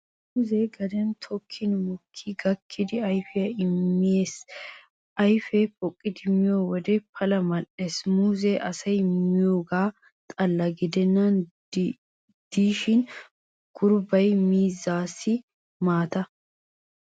Muuzzee gaden tokkin mokkidi gakkidi ayfiyaa immees, a ayfee poqqidi miyo wode pala mal'ees. Muuzzee asay miyoogaa xalla gidennan diishin a gurbbay miizzaassikka maata.